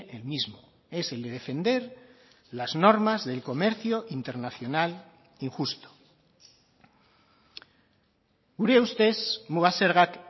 el mismo es el de defender las normas del comercio internacional injusto gure ustez muga zergak